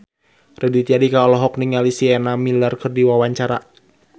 Raditya Dika olohok ningali Sienna Miller keur diwawancara